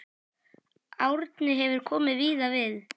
Árni hefur komið víða við.